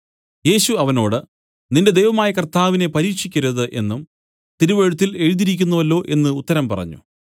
യേശു അവനോട് നിന്റെ ദൈവമായ കർത്താവിനെ പരീക്ഷിക്കരുത് എന്നും തിരുവെഴുത്തിൽ എഴുതിയിരിക്കുന്നുവല്ലോ എന്നു ഉത്തരം പറഞ്ഞു